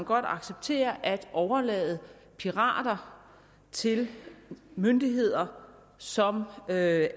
godt acceptere at overlade pirater til myndigheder som af